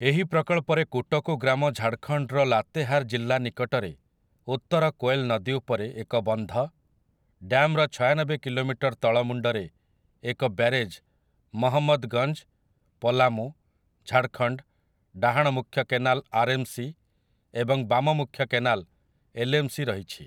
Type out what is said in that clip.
ଏହି ପ୍ରକଳ୍ପରେ କୁଟକୁ ଗ୍ରାମ ଝାଡ଼ଖଣ୍ଡର ଲାତେହାର୍ ଜିଲ୍ଲା ନିକଟରେ ଉତ୍ତର କୋଏଲ୍ ନଦୀ ଉପରେ ଏକ ବନ୍ଧ, ଡ୍ୟାମ୍‌ର ଛୟାନବେ କିଲୋମିଟର ତଳ ମୁଣ୍ଡରେ ଏକ ବ୍ୟାରେଜ୍ ମହମ୍ମଦଗଞ୍ଜ, ପଲାମୁ, ଝାଡ଼ଖଣ୍ଡ, ଡାହାଣ ମୁଖ୍ୟ କେନାଲ ଆର୍ଏମ୍‌ସି ଏବଂ ବାମ ମୁଖ୍ୟ କେନାଲ ଏଲ୍ଏମ୍‌ସି ରହିଛି ।